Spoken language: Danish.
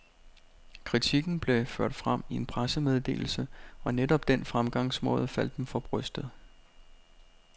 Kritikken blev ført frem i en pressemeddelse, og netop den fremgangsmåde faldt dem for brystet.